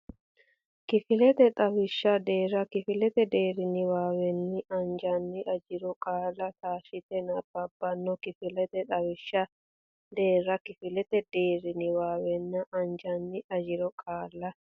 Kifilete Xawishsha Deerra Kifilete deerri niwaawenni ajanni ajiro qaalla taashshite nabbabbanno Kifilete Xawishsha Deerra Kifilete deerri niwaawenni ajanni ajiro qaalla.